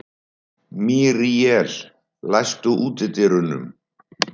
Míríel, læstu útidyrunum.